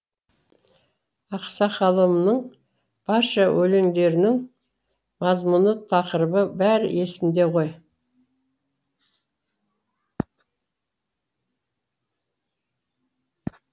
ақсақалымның барша өлеңдерінің мазмұны тақырыбы бәрі есімде ғой